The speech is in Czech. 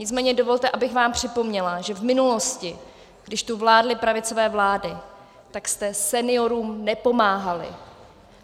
Nicméně dovolte, abych vám připomněla, že v minulosti, když tu vládly pravicové vlády, tak jste seniorům nepomáhali.